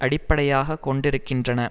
அடிப்படையாக கொண்டிருக்கின்றன